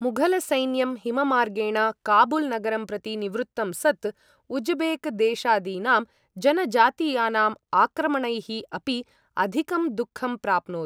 मुघलसैन्यं हिममार्गेण काबुल् नगरं प्रति निवृत्तं सत्, उज्बेक् देशादीनां जनजातीयानाम् आक्रमणैः अपि अधिकं दुःखं प्राप्नोत्।